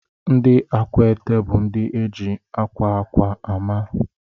Ndị Akwete bụ ndị eji akwa akwa ama.